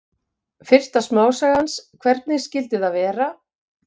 Fyrsta smásaga hans, Hvernig skyldi það vera?